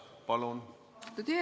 Palun!